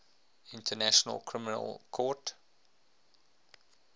international criminal court